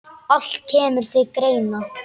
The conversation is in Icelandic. Allt kemur til greina.